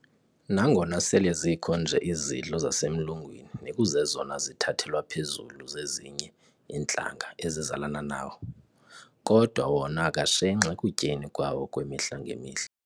Nangona sele zikho nje izidlo zasemlungwini nekuzezona zithathelwa phezulu zezinye iintlanga ezizalana nawo, kodwa wona akashenxi ekutyeni kwawo kwemihla-ngemihla.